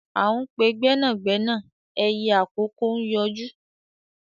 À ń pe gbẹ́nàgbẹ́nà ẹyẹ àkókó ń yọjú